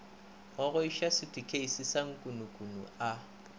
gogoiša sutukheisi sa nkukununu a